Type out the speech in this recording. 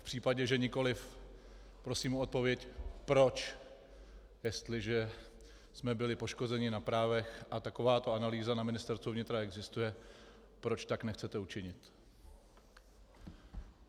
V případě že nikoliv, prosím o odpověď proč, jestliže jsme byli poškozeni na právech a takováto analýza na Ministerstvu vnitra existuje, proč tak nechcete učinit.